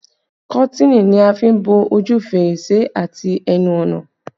Kọ́tìnì ni a fi n bo ojú fèrèsé àti ẹnu ọ̀nà